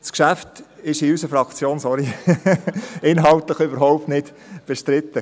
Das Geschäft ist in unserer Fraktion, sorry, inhaltlich überhaupt nicht bestritten.